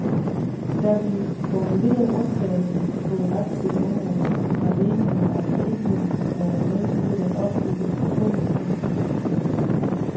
Da vi formulerede undtagelsen på det retlige område, var meningen, at vi ikke ville være med til at opbygge fællespoliti og sådan noget.